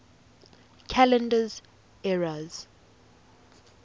calendar eras